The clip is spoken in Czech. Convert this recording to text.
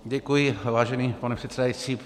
Děkuji, vážený pane předsedající.